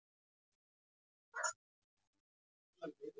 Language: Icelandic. Svenni spyr vafningalaust og sleppir ekki af honum augunum.